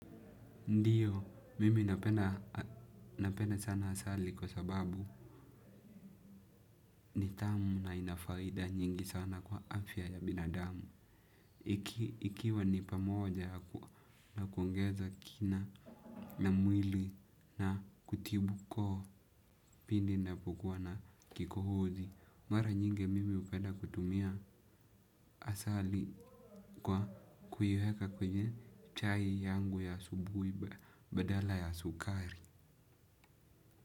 Ndio, mimi napenda sana asali kwa sababu ni tamu na ina faida nyingi sana kwa afya ya binadamu. Ikiwa ni pamoja na kuongeza kina na mwili na kutibuko pindi ninapokuwa na kikohozi. Mara nyingi mimi hupenda kutumia asali kwa kuiweka kwenye chai yangu ya asubuhi badala ya sukari.